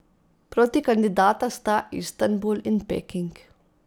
Protikandidata sta Istanbul in Peking.